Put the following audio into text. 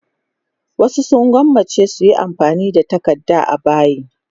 Wasu sun gwammaci su yi amfani da takarda a bayi.